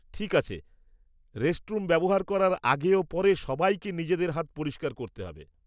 ঠিক আছে। রেস্টরুম ব্যবহার করার আগে ও পরে, সবাইকে নিজেদের হাত পরিষ্কার করতে হবে।